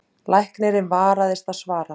Læknirinn varðist svara.